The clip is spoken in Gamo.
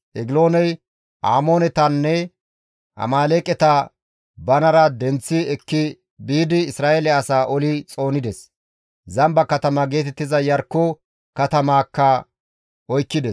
Egilooney Amoonetanne Amaaleeqeta banara denththi ekki biidi Isra7eele asaa oli xoonides; Zamba katama geetettiza Iyarkko katamaakka oykkides.